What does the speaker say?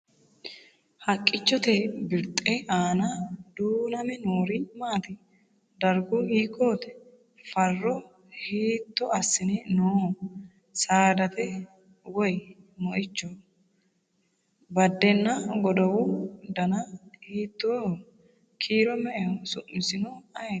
Haqqichchotte birixxe aanna duunname noori maatti? Darigu hiikkotti? Farro hiitto asse nooho? Saadate? Woyi moichoho? Badenna godowu danna hiittoho? Kiiro me'eho? Su'missinno ayiitti?